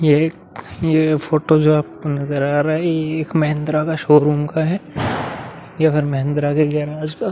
ये एक ये फोटो जो आपको नजर आ रहा है ये एक महिंद्रा का शोरूम का है ये रहा महिंद्रा के गेराज का --